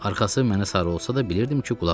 Arxası mənə sarı olsa da bilirdim ki, qulaq asır.